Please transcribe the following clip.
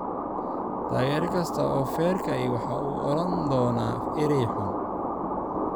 Taageere kasta oo feerka ahi waxa uu odhan doonaa eray xun.